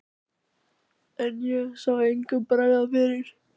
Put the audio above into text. En ég sá engum bregða fyrir.